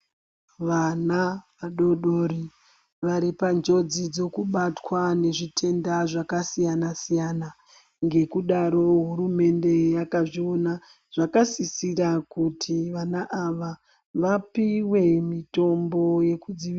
Vana vadodori vari pa njodzi dzekubatwa ne zvitenda zvaka siyana siyana ngekudaro hurumende yakazvoona zvakasisira kuti vana ava vapuhwe mutombo yeku dzivirira.